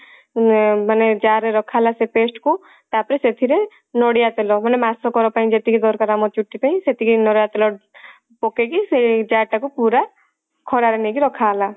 ଉଁ ମାନେ jar ରେ ରଖା ହେଲା ସେ paste କୁ ତାପରେ ସେଥିରେ ନଡିଆ ତେଲ ମାନେ ମାସ କ ର ପାଇଁ ଯେତିକି ଦରକାର ଆମ ଚୁଟି ପାଇଁ ସେତିକି ନଡିଆ ତେଲ ପକେଇକି ସେଇ jar ଟାକୁ ପୁରା ଖରା ରେ ନେଇକି ରଖା ହେଲା